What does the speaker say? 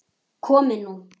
Komið nú